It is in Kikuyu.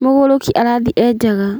Mũgũrũki arathiĩ enjaga